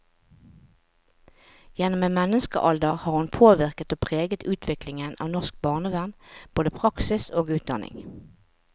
Gjennom en menneskealder har hun påvirket og preget utviklingen av norsk barnevern, både praksis og utdanning.